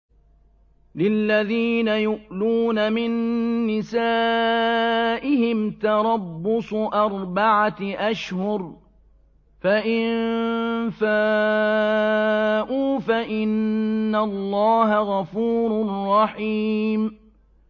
لِّلَّذِينَ يُؤْلُونَ مِن نِّسَائِهِمْ تَرَبُّصُ أَرْبَعَةِ أَشْهُرٍ ۖ فَإِن فَاءُوا فَإِنَّ اللَّهَ غَفُورٌ رَّحِيمٌ